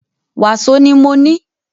Wàsó ni mọ ní.